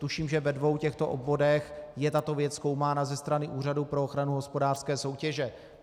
Tuším, že ve dvou těchto obvodech je tato věc zkoumána ze strany Úřadu pro ochranu hospodářské soutěže.